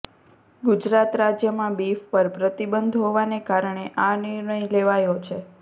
ગુજરાત રાજ્યમાં બીફ પર પ્રતિબંધ હોવાને કારણે આ નિર્ણય લેવાયો છે